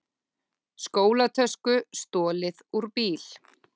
Skólatösku stolið úr bíl